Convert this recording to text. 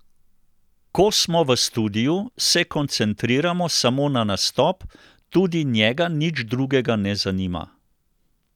Ko smo v studiu, se koncentriramo samo na nastop, tudi njega nič drugega ne zanima.